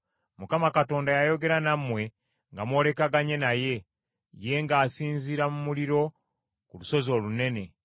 Mukama Katonda yayogera nammwe nga mwolekaganye naye, ye ng’asinziira mu muliro ku lusozi olunene.